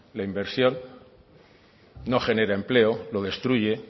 la inversión no genera empleo lo destruye